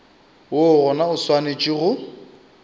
woo gona o swanetše go